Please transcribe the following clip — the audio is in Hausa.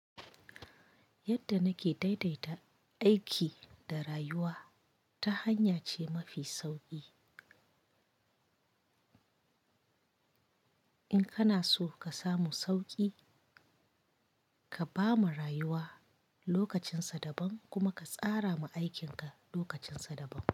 Yadda nake daidaita aiki da rayuwa, ta hanya ce mafi sauƙi. In kana so ka samu sauƙi, ka ba ma rayuwa lokacinsa daban kuma ka tsara ma aikinka lokacinsa daban.